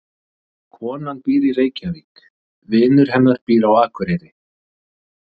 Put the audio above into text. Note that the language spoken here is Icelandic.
Konan býr í Reykjavík. Vinur hennar býr á Akureyri.